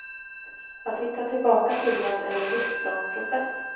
Att hitta tillbaka till dem är en livslång process.